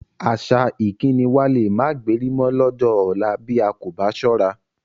Àṣà ìkíni wa lé máa gbéri mọ lọ́jọ́ ọ̀la bí a kò bá ṣọ́ra